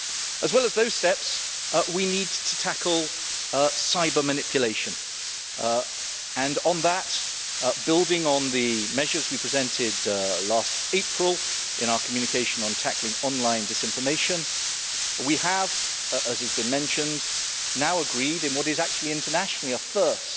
As well as those steps, we need to tackle cyber manipulation and on that, building on the measures we presented last April in our communication on tackling online disinformation, we have as has been mentioned now agreed, in what is actually internationally a first,